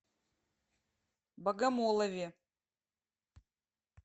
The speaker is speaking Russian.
богомолове